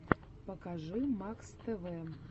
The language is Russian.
покажи макс тв